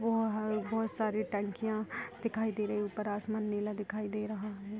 वो वहां बहुत सारी टंकिया दिखाई दे रही है ऊपर आसमान नीला दिखाई दे रहा है।